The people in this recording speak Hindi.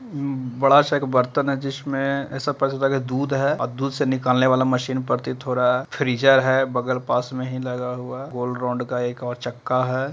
बड़ा सा एक बर्तन है जिसमें ऐसा पता चला की दूध है और दूध से निकालने वाला मशीन प्रतीत हो रहा है फ्रीज़र है बगल पास में ही लगा हुआ गोल राउंड का एक और चक्का है।